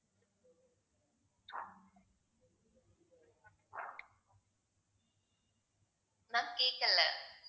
ma'am கேட்கலை